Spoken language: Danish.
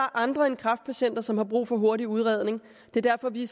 andre end kræftpatienter som har brug for hurtig udredning det er derfor vi